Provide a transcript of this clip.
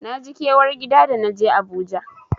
Naji kewar gida da naje Abuja.